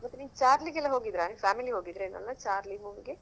ಮತ್ತೆ ನೀವ್ ಚಾರ್ಲಿ ಗೆಲ್ಲಾ ಹೋಗಿದ್ದಿರಾ ನಿಮ್ family ಹೋಗಿದಿರಾ ಚಾರ್ಲಿ movie ಗೆ.